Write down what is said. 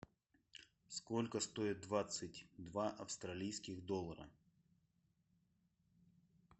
сколько стоит двадцать два австралийских доллара